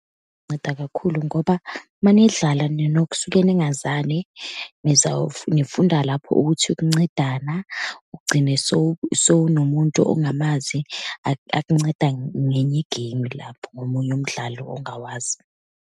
Nceda kakhulu, ngoba uma nidlala ninokusuke ningazani, nifunda lapho ukuthi ukuncedana, ugcine sowunomuntu ongamazi akunceda ngenye igeyimu lapho, ngomunye umdlalo ongawazi.